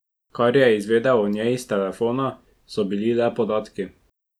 Kar je izvedel o njej iz telefona, so bili le podatki.